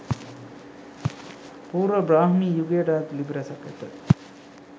පූර්ව බ්‍රාහ්මී යුගයට අයත් ලිපි රැසක් ඇත.